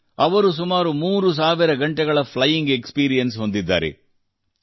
ಅವರು ಸುಮಾರು 3 ಸಾವಿರ ಗಂಟೆಗಳ ಫ್ಲೈಯಿಂಗ್ ಎಕ್ಸ್ಪೀರಿಯೆನ್ಸ್ ವಿಮಾನ ಹಾರಟದ ಅನುಭವ ಹೊಂದಿದ್ದಾರೆ